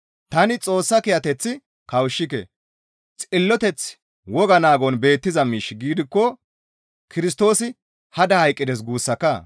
Tani Xoossa kiyateth kawushshike; xilloteththi woga naagon beettiza miish gidikko Kirstoosi hada hayqqides guussakaa!»